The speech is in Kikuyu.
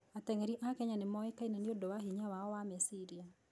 Ateng'eri a Kenya nĩ moĩkaine nĩ ũndũ wa hinya wao wa meciria.